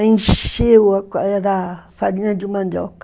Encheu da era farinha de mandioca.